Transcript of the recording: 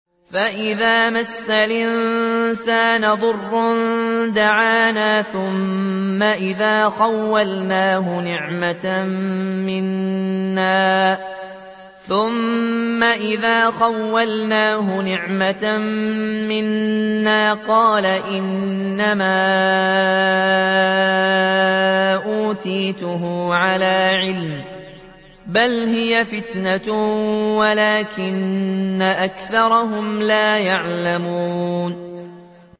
فَإِذَا مَسَّ الْإِنسَانَ ضُرٌّ دَعَانَا ثُمَّ إِذَا خَوَّلْنَاهُ نِعْمَةً مِّنَّا قَالَ إِنَّمَا أُوتِيتُهُ عَلَىٰ عِلْمٍ ۚ بَلْ هِيَ فِتْنَةٌ وَلَٰكِنَّ أَكْثَرَهُمْ لَا يَعْلَمُونَ